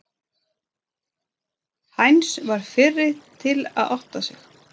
Heinz varð fyrri til að átta sig.